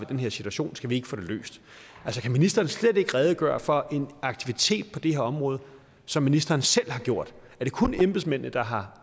den her situation skal vi ikke få den løst altså kan ministeren slet ikke redegøre for en aktivitet på det her område som ministeren selv har gjort er det kun embedsmændene der har